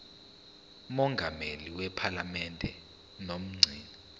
mongameli wephalamende nomgcini